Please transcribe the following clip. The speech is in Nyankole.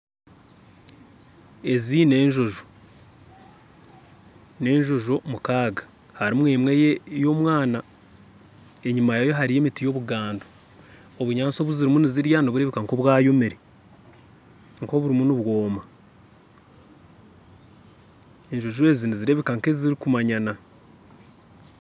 Ezi nenjojo enjojo mukaaga harimu emwe y'omwana, enyima yaayo harimu emiti yobugando, obunyantsi obuzirimu nizirya niburebeka nkobwayomire nk'oburimu nibwoma, enjojo ezi nizireebeka nk'ezirikumanyana